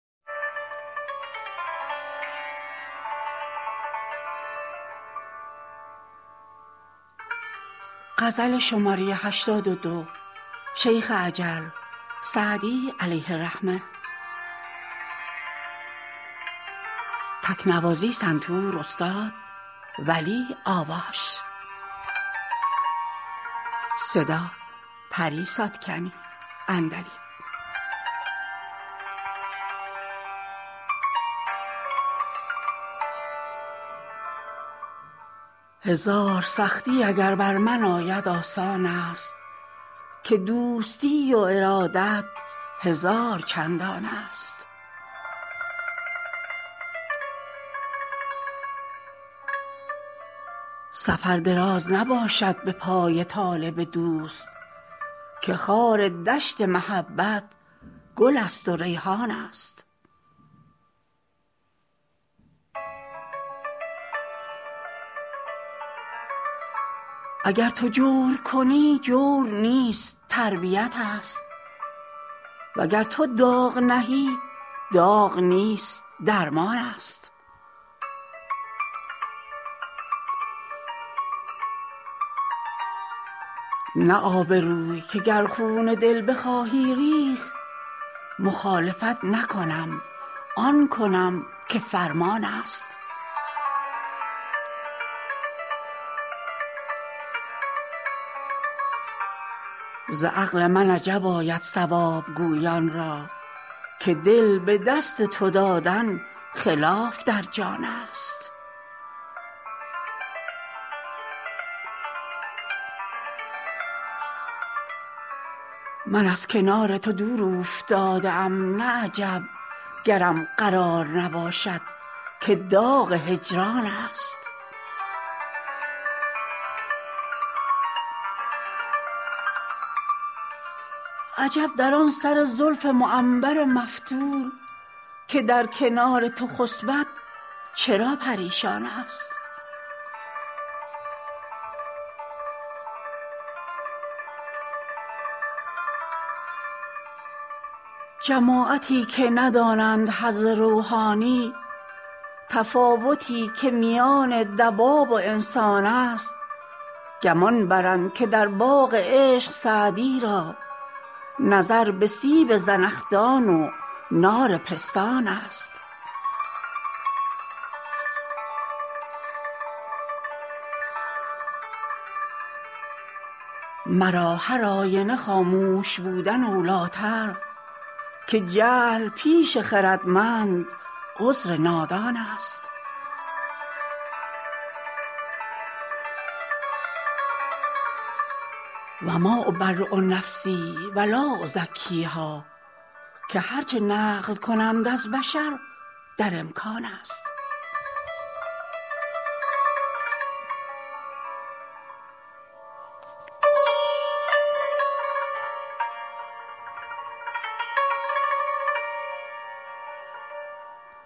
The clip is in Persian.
هزار سختی اگر بر من آید آسان است که دوستی و ارادت هزار چندان است سفر دراز نباشد به پای طالب دوست که خار دشت محبت گل است و ریحان است اگر تو جور کنی جور نیست تربیت ست وگر تو داغ نهی داغ نیست درمان است نه آبروی که گر خون دل بخواهی ریخت مخالفت نکنم آن کنم که فرمان است ز عقل من عجب آید صواب گویان را که دل به دست تو دادن خلاف در جان است من از کنار تو دور اوفتاده ام نه عجب گرم قرار نباشد که داغ هجران است عجب در آن سر زلف معنبر مفتول که در کنار تو خسبد چرا پریشان است جماعتی که ندانند حظ روحانی تفاوتی که میان دواب و انسان است گمان برند که در باغ عشق سعدی را نظر به سیب زنخدان و نار پستان است مرا هرآینه خاموش بودن اولی تر که جهل پیش خردمند عذر نادان است و ما أبری نفسی و لا أزکیها که هر چه نقل کنند از بشر در امکان است